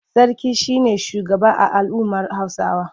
Sarki shi ne shugaba a al'ummar Hausawa.